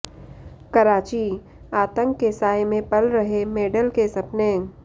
कराचीः आतंक के साये में पल रहे मेडल के सपने